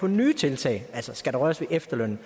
nye tiltag altså skal røres ved efterlønnen